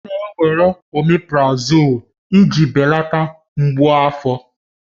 Ọ na-ewere oméprazolú iji belata mgbu afọ